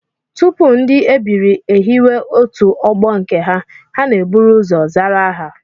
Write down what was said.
Tupu ndị ebiri ehiwe otu ọgbọ nke ha, ha na-eburu ụzọ zara aha